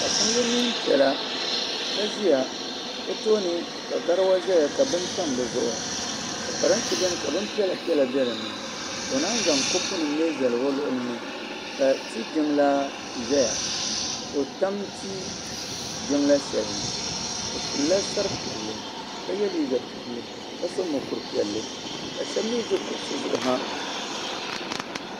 paɣi so yɛ nee piɛla o tooni ka garawa zɛya ka bin tam dizuɣu ka parentɛ ʒɛya ka bin piɛlapiɛla bɛ dini ka o maan zan kopinim n zali o luɣulini ka ti jinlaaʒɛya ka o tam tii jinla shɛlini ka yɛ liiga piɛlli ka so mukuru piɛlli ka shɛbi mi zi kuɣisi zuɣu ha